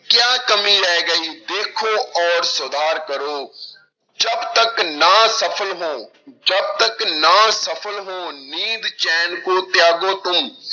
ਕਿਆ ਕਮੀ ਰਹਿ ਗਈ ਦੇਖੋ ਔਰ ਸੁਧਾਰ ਕਰੋ ਜਬ ਤੱਕ ਨਾ ਸਫ਼ਲ ਹੋ ਜਬ ਤੱਕ ਨਾ ਸਫ਼ਲ ਹੋ ਨੀਂਦ ਚੈਨ ਕੋ ਤਿਆਗੋ ਤੁਮ